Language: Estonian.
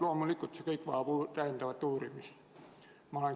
Loomulikult ma olen seisukohal, et see kõik vajab täiendavat uurimist.